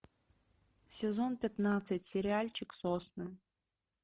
сезон пятнадцать сериальчик сосны